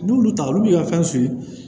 N'olu taara olu b'i ka fɛn